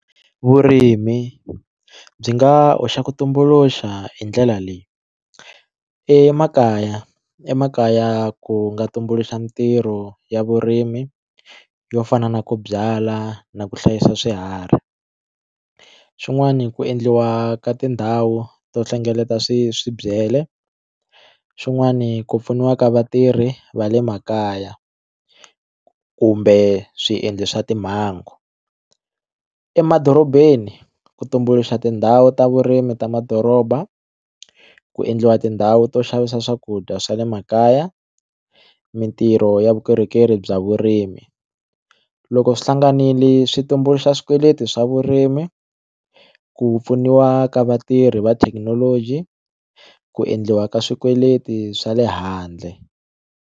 Vurimi byi nga hoxa ku tumbuluxa hi ndlela leyi emakaya emakaya ku nga tumbuluxa mitirho ya vurimi yo fana na ku byala na ku hlayisa swiharhi xin'wani ku endliwa ka tindhawu to hlengeleta swi swi byele xin'wani ku pfuniwa ka vatirhi va le makaya kumbe swiendlo swa timhangu emadorobeni ku tumbuluxa tindhawu ta vurimi ta madoroba ku endliwa tindhawu to xavisa swakudya swa le makaya mitirho ya vukorhokeri bya vurimi loko swi hlanganile swi tumbuluxa swikweleti swa vurimi ku pfuniwa ka vatirhi va thekinoloji ku endliwa ka swikweleti swa le handle.